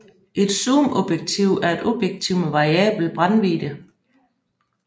Et zoomobjektiv er et objektiv med variabel brændvidde